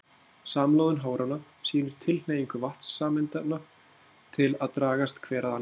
Samloðun háranna sýnir tilhneigingu vatnssameindanna til að dragast hver að annarri.